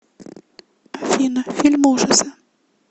афина фильм ужаса